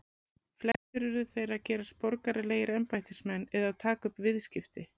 flestir urðu þeir að gerast borgaralegir embættismenn eða taka upp viðskipti